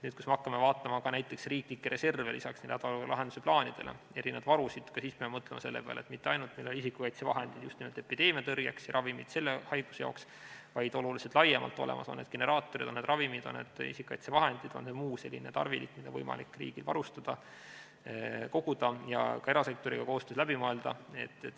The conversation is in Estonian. Kui me hakkame vaatama näiteks riiklikke reserve lisaks hädaolukorra lahendamise plaanidele, erinevaid varusid, ka siis peame mõtlema selle peale, et meil mitte ainult ei oleks olemas isikukaitsevahendid just nimelt epideemia tõrjeks ja ravimid selle haiguse jaoks, vaid meil peavad need varud olema oluliselt laiemalt olemas, on need generaatorid, on need ravimid, on need isikukaitsevahendid, on need muu selline tarvilik, mida on võimalik riigil varuda, koguda ja ka erasektoriga koostöös läbi mõelda.